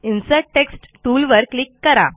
insert text टूलवर click करा